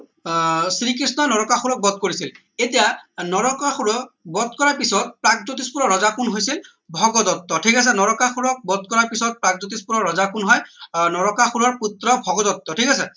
আহ শ্ৰীকৃষ্ণয় নৰকাসুৰক বধ কৰিছিল এতিয়া নৰকাসুৰক বধ কৰা পিছত প্ৰাগজ্যোতিষ পুৰৰ ৰজা কোন হৈছিল ভগদত্ত ঠিক আছে নৰকাসুৰক বধ কৰা পিছত প্ৰাগজ্যোতিষ পুৰৰ ৰজা কোন হয় আহ নৰকাসুৰৰ পুত্ৰ ভগদত্ত ঠিক আছে